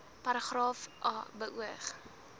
paragraaf a beoog